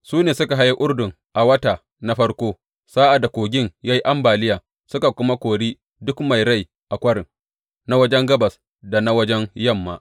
Su ne suka haye Urdun a wata na farko sa’ad da kogin ya yi ambaliya, suka kuma kori duk mai rai a kwarin, na wajen gabas da na wajen yamma.